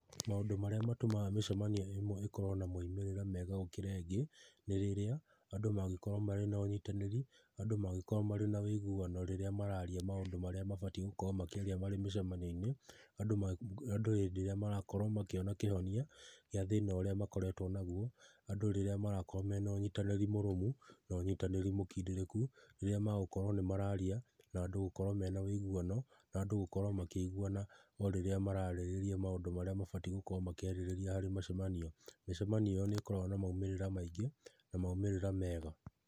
Maũndũ marĩa matũmaga mĩcamanio ĩmwe ĩkorwo na maumĩrĩra mega gũkĩra ĩngĩ nĩ rĩrĩa andũ mangĩkorwo marĩ na ũnyitanĩri, andũ mangĩkorwo marĩ na ũiguano rĩrĩa mararia maũndũ marĩa mabatiĩ gũkorwo makĩaria marĩ mĩcamanio-inĩ, andũ hĩndĩ ĩrĩa marakorwo makĩona kĩhonia, gĩa thĩna ũrĩa makoretwo naguo, andũ rĩrĩa marakorwo mena ũnyitanĩri mũrũmũ, na ũnyitanĩri mũkindĩrĩku rĩrĩa magũkorwo nĩ mararia na andũ gũkorwo mena ũiguano na andũ gũkorwo makĩiguana o rĩrĩa mararĩrĩria maũndũ marĩa mabatiĩ gũkorwo makĩarĩrĩria harĩ mĩcamanio. Mĩcamanio ĩyo nĩ ĩkoragwo na maumĩrĩra maingĩ na maumĩrĩra mega.